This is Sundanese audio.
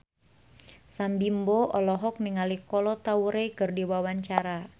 Sam Bimbo olohok ningali Kolo Taure keur diwawancara